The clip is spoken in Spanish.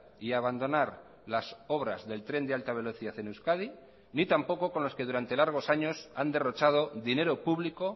y abandonar las obras del tren de alta velocidad en euskadi ni tampoco con los que durante largos años han derrochado dinero público